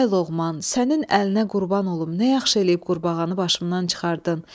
Ay Loğman, sənin əlinə qurban olum, nə yaxşı eləyib qurbağanı başımdan çıxardın.